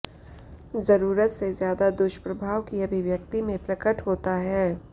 जरूरत से ज्यादा दुष्प्रभाव की अभिव्यक्ति में प्रकट होता है